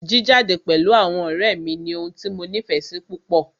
Jíjade pẹ̀lú àwọn ọ̀rẹ́ mí ní ohun tí mo nífẹsí púpọ.